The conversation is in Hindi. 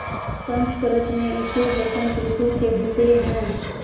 संस्कृत मे इसे बसंत रितु केहेते है